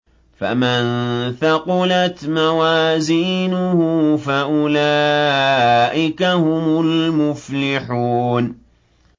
فَمَن ثَقُلَتْ مَوَازِينُهُ فَأُولَٰئِكَ هُمُ الْمُفْلِحُونَ